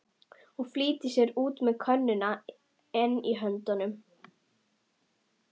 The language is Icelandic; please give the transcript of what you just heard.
Og flýtir sér út með könnuna enn í höndunum.